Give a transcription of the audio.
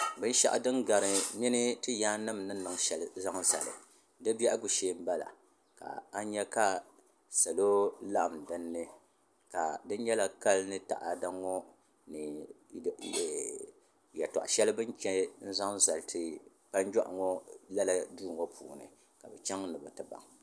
bɛn shɛgu din gari mini tɛyanim ni niŋ shɛli zali di bɛgu shɛɛ n bala ka nyɛ ka salo laɣim dini ka di nyɛla kali ni taɣ' ŋɔ ni yɛtoɣ' shɛli bɛn chɛ zaŋ zali kpajuɣ' ŋɔ lala duŋɔ puuni ka be chɛŋ ni bɛ ti baŋ